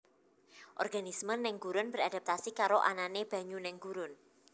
Organisme neng gurun beradaptasi karo anane banyu neng gurun